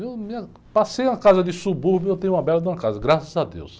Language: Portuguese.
Eu me, passei uma casa de subúrbio e eu tenho uma bela de uma casa, graças a Deus.